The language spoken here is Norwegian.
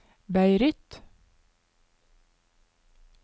Beirut